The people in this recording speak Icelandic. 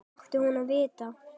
Hvernig átti hún að vita-?